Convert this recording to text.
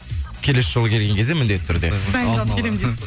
келесі жолы келген кезде міндетті түрде дайындалып келемін дейсіз